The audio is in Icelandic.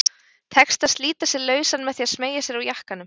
Tekst að slíta sig lausan með því að smeygja sér úr jakkanum.